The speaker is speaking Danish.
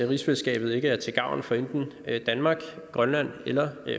rigsfællesskabet ikke er til gavn for enten danmark grønland eller